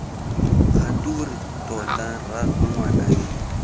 kgature tota rraagwe ngwana yo